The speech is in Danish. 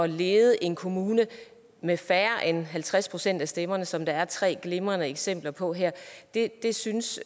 lede en kommune med færre end halvtreds procent af stemmerne som der er tre glimrende eksempler på det det synes